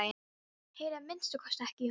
Heyri að minnsta kosti ekki í honum.